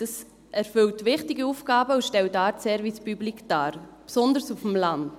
Es erfüllt wichtige Aufgaben und stellt eine Art Service Public dar, besonders auf dem Land.